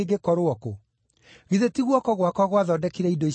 Githĩ ti guoko gwakwa gwathondekire indo ici ciothe?’